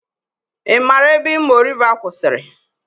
I maara ebe Imo Riva kwụsịrị?